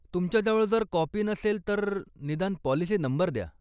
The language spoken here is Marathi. तुमच्याजवळ जर काॅपी नसेल, तर निदान पाॅलिसी नंबर द्या.